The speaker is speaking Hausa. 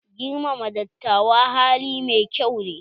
Girmama dattawa hali mai kyau ne.